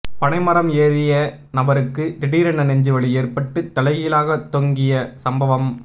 பனை மரம் ஏறிய நபருக்கு திடீரென நெஞ்சு வலி ஏற்பட்டு தலைகீழாக தொங்கிய சம்பவம்